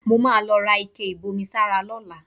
Mo máa lọ ra ike ìbomisára lọ́la